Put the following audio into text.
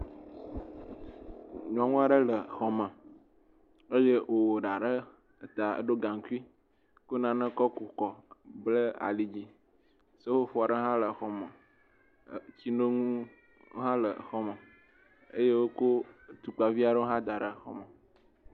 Nyɔnu aɖe le xɔme eye wòwɔ ɖa ɖe ta. Eɖiɔ gaŋkui, kɔ nane kɔ ku kɔ. Blɛ ali dzi. Seƒoƒo aɖe hã le xɔme. Tsinonu hã le xɔme eye wokɔ tukpavi aɖewo hã da ɖe xɔme.